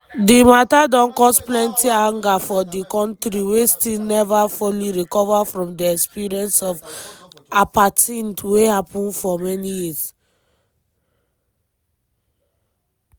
di matter don cause plenty anger for di kontri wey still neva fully recover from di experience of apartheid wey happen for many years.